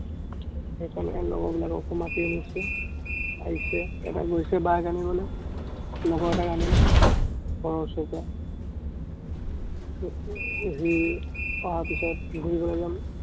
সেইকাৰণে লগৰ বিলাককো মাতি আনিছো, আহিছে লগৰ এটাক আনিলো, ঘৰৰ ওচৰৰপৰা সি অহাৰ পিছত ঘুৰিবলৈ যাম।